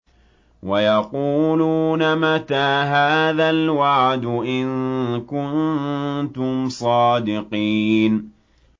وَيَقُولُونَ مَتَىٰ هَٰذَا الْوَعْدُ إِن كُنتُمْ صَادِقِينَ